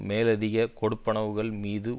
மேலதிக கொடுப்பனவுகள் மீது